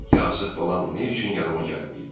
Yazıq balam nə üçün yanımu gəlməyib?